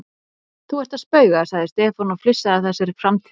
Þú ert að spauga sagði Stefán og flissaði að þessari framtíðarsýn.